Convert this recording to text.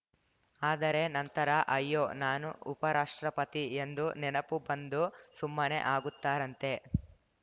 ಆದರೆ ನಂತರ ಅಯ್ಯೋ ನಾನು ಉಪರಾಷ್ಟ್ರಪತಿ ಎಂದು ನೆನಪು ಬಂದು ಸುಮ್ಮನೆ ಆಗುತ್ತಾರಂತೆ